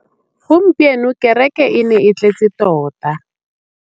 Gompieno kêrêkê e ne e tletse tota.